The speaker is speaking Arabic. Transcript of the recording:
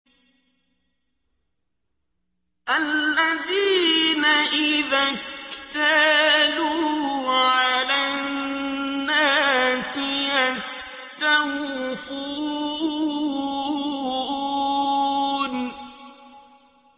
الَّذِينَ إِذَا اكْتَالُوا عَلَى النَّاسِ يَسْتَوْفُونَ